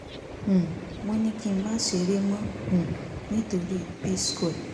um wọ́n ní kí n máa ṣeré mọ́ um nítorí p-square